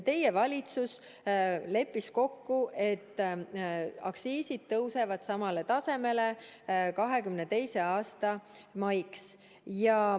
Teie valitsus leppis kokku, et aktsiisid tõusevad samale tasemele 2022. aasta maiks.